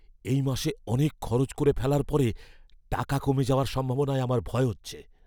এই মাসে অনেক খরচ করে ফেলার পরে টাকা কমে যাওয়ার সম্ভাবনায় আমার ভয় হচ্ছে।